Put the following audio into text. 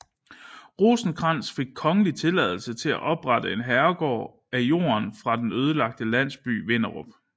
Rosenkrantz fik kongelig tilladelse til at oprette en herregård af jorden fra den ødelagte landsby Vinderup